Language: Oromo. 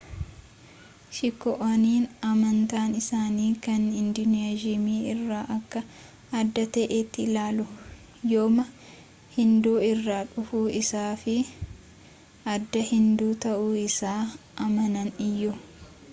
sikh'oonni amantaan isaanii kan hinduyiizimii irraa akka adda ta'etti ilaalu yooma hinduu irraa dhufuu isaa fi aadaa hinduu ta'uu isaa amanan iyyuu